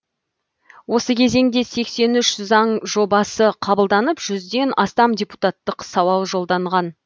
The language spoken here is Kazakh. осы кезеңде сексен үш заң жобасы қабылданып жүзден астам депутаттық сауал жолданған